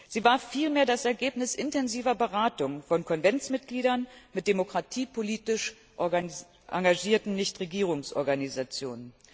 Sie war vielmehr das Ergebnis intensiver Beratungen von Konventsmitgliedern mit demokratiepolitisch engagierten Nichtregierungsorganisationen.